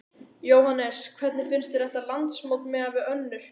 Jóhannes: Hvernig finnst þér þetta landsmót miðað við önnur?